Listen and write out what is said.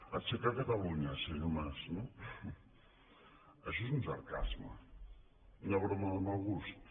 aixecar catalunya senyor mas no això és un sarcasme una broma de mal gust